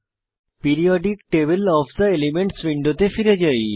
periodic table of the elements উইন্ডোতে ফিরে যাই